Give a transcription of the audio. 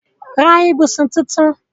Ra ibùsùn tunrun